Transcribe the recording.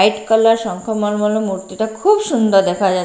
White colour শঙ্খ মলোর মূর্তি তা খুৱ সুন্দর লাগছে।